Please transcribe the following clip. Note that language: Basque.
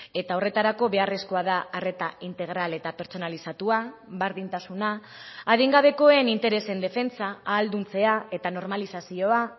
eta horretarako beharrezkoa da arreta integral eta pertsonalizatua berdintasuna adingabekoen interesen defentsa ahalduntzea eta normalizazioa